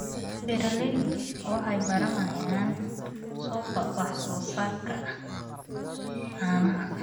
Beeraleydu waxay baranayaan suuqa wax-soo-saarka caanaha.